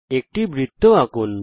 একটি বৃত্ত আঁকুন